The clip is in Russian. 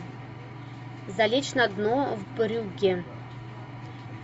залечь на дно в брюгге